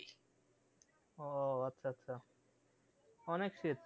ও আচ্ছা আচ্ছা অনেক শীত